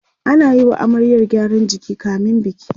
ana Yi wa amaryar gyaran jiki kamin biki